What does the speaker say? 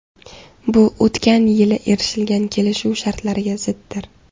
Bu o‘tgan yili erishilgan kelishuv shartlariga ziddir.